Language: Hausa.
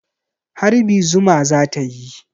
Harbi zuma za ta yi.